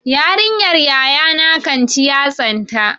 Yarinyar yayana kan ci yatsanta.